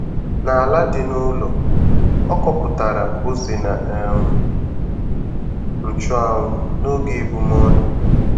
N'ala dị n'ụlọ, ọ kọpụtara ose na um nchụanwụ n'oge ebumọnụ.